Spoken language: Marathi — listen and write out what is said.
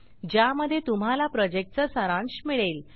ज्यामध्ये तुम्हाला प्रॉजेक्टचा सारांश मिळेल